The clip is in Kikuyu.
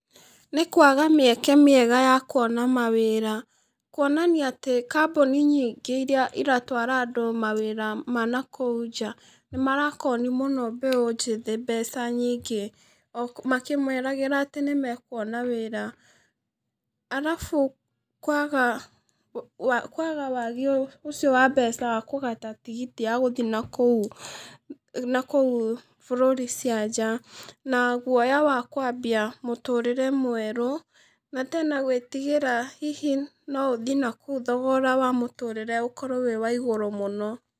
Nĩ kwaga mĩeke mĩega ya kuona mawĩra, kuonania atĩ kambũni nyingĩ iria iratwara andũ mawĩra ma nakũu nja, nĩmarakoni mũno mbeũ njĩthĩ mbeca, o makĩmeragĩra atĩ nĩmekuona wĩra, arabu kwaga, kwaga wagi ũcio wa mbeca wa kũgata tigiti ya gũthi nakũu, nakũu bũrũri cia nanja, na guoya wa kwambia mũtũrĩre mwerũ, na tena gwĩtigĩra hihi noũthi nakũu thogora wa mũtũrĩre ũkorwo wĩ wa igũrũ mũno.